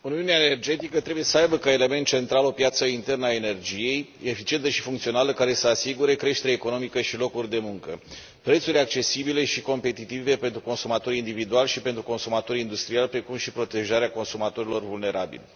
Domnule președinte, uniunea energetică trebuie să aibă ca element central o piață internă a energiei eficientă și funcțională, care să asigure creștere economică și locuri de muncă, prețuri accesibile și competitive pentru consumatorii individuali și pentru consumatorii industriali, precum și protejarea consumatorilor vulnerabili.